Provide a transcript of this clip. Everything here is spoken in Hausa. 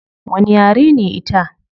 Wani yare ne ita?